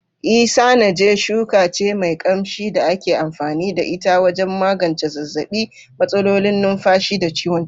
Isanaje shuka ce mai kamshi da ake amfani da ita wajen magance zazzaɓi, matsalolin numfashi, da ciwon ciki.